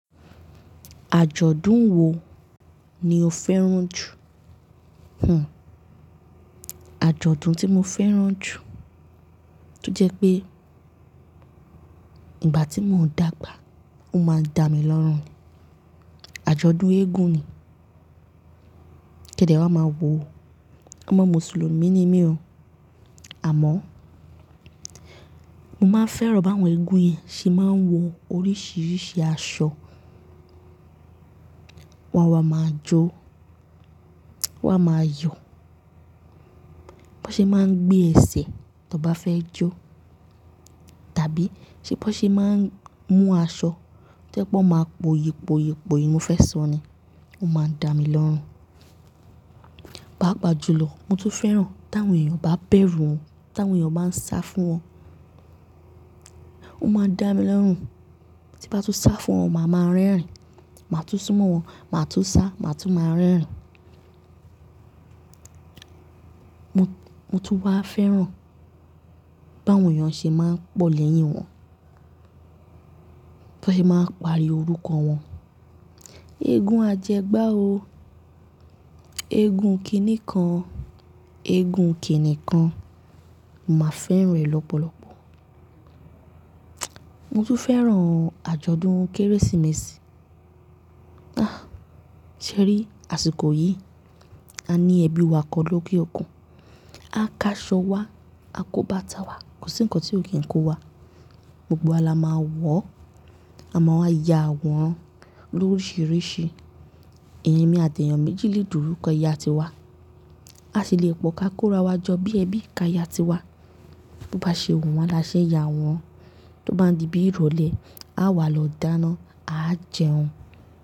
Àjọ̀dún wo ni o fẹ́ràn jù? Àjọ̀dún tí mo fẹ́ràn jù, tó jẹ́ pé ìgbà tí mò ń dàgbà, ó máa ń dá mi lọ́rùn. Àjọ̀dún eégún ni. Kẹ̀dẹ́ wá máa wo. Ọmọ Mùsùlùmí ni mí o, àmọ́ mo máa ń fẹ́ràn bá àwọn eégún yìí ṣe máa ń wọ oríṣiríṣi aṣọ, wọ́n wa máa jó, wọ́n a máa yọ̀, bó ṣe máa ń gbé ẹsẹ̀ tó bá fẹ́ jó tàbí ṣe bó ṣe máa ń mú aṣọ tó jẹ́ pé wọ́n máa po yipo yipo yìí mo fẹ́ sọ ni, ó máa ń dá mi lọ́rùn. Pàápàá jùlọ, mo tún fẹ́ràn tí àwọn èèyàn bá bẹ̀rù wọn, tí àwọn èèyàn bá ń sá fún wọn, ó máa ń dá mi lórùn. Tí bá tú sá fún wọn, màá máa rẹ́rìn-ín, màá tún súnmọ́ wọn, màá tún sá, màá tún máa rẹ́rìn-ín. Mo tún wá fẹ́ràn bá àwọn èèyàn ṣe máa ń pọ̀ lẹ́yìn wọn, bó ṣe máa ń pari orúkọ wọn. Eégún ajẹgbá o, eégún kìníkàn, eégún kìníkàn, màá fẹ́ràn rẹ̀ lọ́pọ̀lọpọ̀. Mo tún fẹ́ràn àjọ̀dún Kérésìmesì. Ah! Ṣé rí àsìkò yìí, a ní ẹbí wa kan lóke òkun. A ká aṣọ wa, a kó bàtà wá, kò sí ǹkan tí ò kí ń kó wá. Gbogbo wa la máa wọ̀, àma wa ya àwòrán lórisìíríṣìí. Èmi àti èèyàn méjì lè dúró kọ yà tiwa. A sì le è pọ̀ ká kóra wa jọ bí ẹbí ká yà tiwa. Bó bá ṣe wù wọ́n la ṣe ya àwòrán, tó bá di bí ìrọ̀lẹ́ a wà lọ dáná, a jẹun.